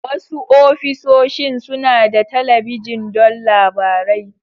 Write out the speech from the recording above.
Wasu ofisoshin suna da talabijin don labarai.